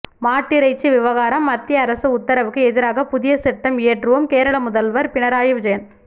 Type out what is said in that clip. மாட்டிறைச்சி விவகாரம் மத்திய அரசு உத்தரவுக்கு எதிராக புதிய சட்டம் இயற்றுவோம் கேரள முதல்வர் பினராயி விஜயன்